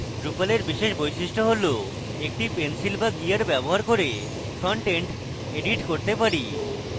drupal এর বিশেষ বৈশিষ্ট্য হল একটি pencil বা gear ব্যবহার front end edit করতে পারি